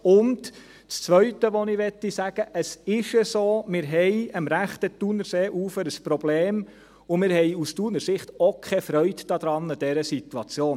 Und das Zweite, das ich sagen möchte: Es ist so, dass wir am rechten Thunerseeufer ein Problem haben, und wir haben aus Thuner Sicht auch keine Freude an dieser Situation.